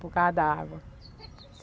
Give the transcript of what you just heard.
Por causa da água.